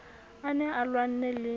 a ne a lwanne le